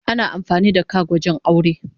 Ana amfani da kak wajen aure.